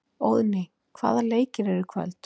Óðný, hvaða leikir eru í kvöld?